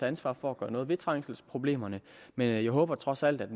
ansvar for at gøre noget ved trængselsproblemerne men jeg håber trods alt at